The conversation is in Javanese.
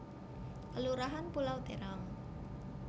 Kelurahan Pulau Terong